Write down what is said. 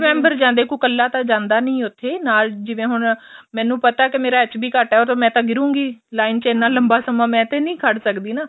member ਜਾਂਦੇ ਏ ਕੋਈ ਕੱਲਾ ਤਾਂ ਜਾਂਦਾ ਨੀ ਉੱਥੇ ਨਾਲ ਜਿਵੇਂ ਹੁਣ ਮੈਂਨੂੰ ਪਤਾ ਮੇਰਾ HP ਘੱਟ ਆ ਉਹ ਮੈਂ ਤਾਂ ਗਿਰੂੰਗੀ line ਚ ਐਨਾ ਲੰਬਾ ਸਮਾਂ ਮੈਂ ਤੇ ਨੀ ਖੜ ਸਕਦੀ ਨਾ